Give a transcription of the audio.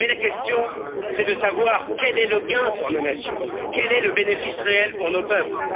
La question, c'est de savoir quel est le gain pour nos nations, quel est le bénéfice réel pour nos peuples?